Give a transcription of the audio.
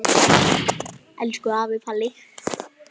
Elsku afi Palli.